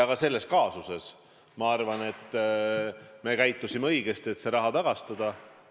Ka selles kaasuses me käitusime minu arvates õigesti, kui see raha tagastati.